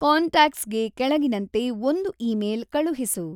ಕಾಂಟ್ಯಾಕ್ಟ್ಸ್‌ಗೆ ಕೆಳಗಿನಂತೆ ಒಂದು ಇಮೇಲ್ ಕಳುಹಿಸು